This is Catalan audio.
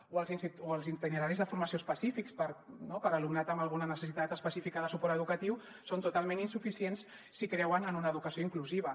o els itineraris de formació específics per a alumnat amb alguna necessitat específica de suport educatiu són totalment insuficients si creuen en una educació inclusiva